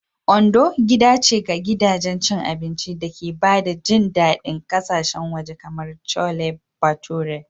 Ondo gida ce ga gidajen cin abinci da ke ba da jin daɗin ƙasashen waje kamar Chole Bhature.